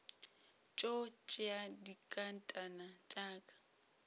tšo tšea dinkatana tša ka